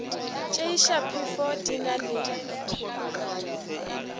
tšeiša phefo di na le